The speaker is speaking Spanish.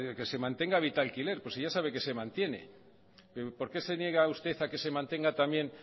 que se mantenga vitalquiler pues si ya sabe que se mantiene por qué se niega usted a que se mantenga también